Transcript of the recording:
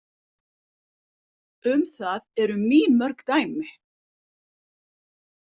Um það eru mýmörg dæmi.